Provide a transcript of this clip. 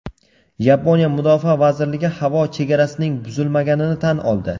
Yaponiya mudofaa vazirligi havo chegarasining buzilmaganini tan oldi.